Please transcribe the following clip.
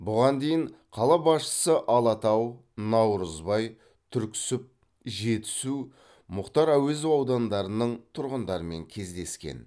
бұған дейін қала басшысы алатау наурызбай түрксіб жетісу мұхтар әуезов аудандарының тұрғындармын кездескен